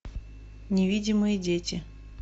невидимые дети